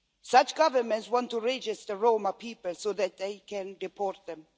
Such governments want to register Roma people so that they can deport them.